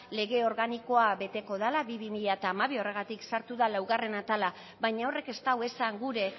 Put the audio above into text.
lege organikoa beteko dela bi barra bi mila hamabi horregatik sartu da laugarren atala baina horrek ez du esan gura